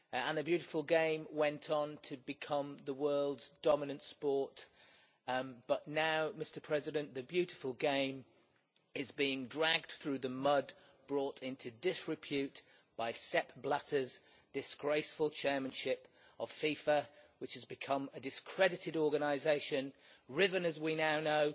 The beautiful game went on to become the world's dominant sport, but now the beautiful game is being dragged through the mud, brought into disrepute by Sepp Blatter's disgraceful chairmanship of FIFA, which has become a discredited organisation, riven as we now know